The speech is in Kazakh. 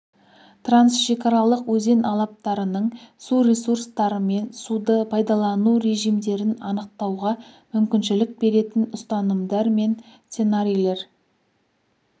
трансшекаралық өзен алаптарының су ресурстары мен суды пайдалану режимдерін анықтауға мүмкіншілік беретін ұстанымдар мен сценарийлер